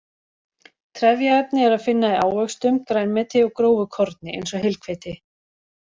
Trefjaefni er að finna í ávöxtum, grænmeti og grófu korni, eins og heilhveiti.